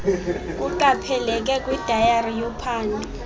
kuqapheleke kwidayari yophando